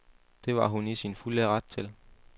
Det var hun i sin fulde ret til.